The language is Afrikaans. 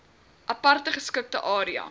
aparte geskikte area